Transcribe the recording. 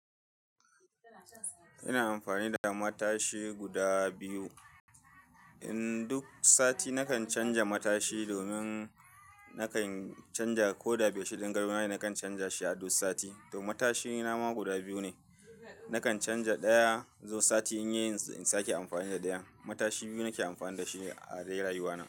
Ina amfani da matashi guda biyu. In duk sati nakan canja matashi domin nakan canja ko da biyu-shidin garma nakan canja shi a duk sati. To matashina ma guda biyu ne. Nakan canja ɗaya zuwa sati in yi in sake amfani da ɗayan. Matashi biyu nake amfani da shi a dai rayuwana.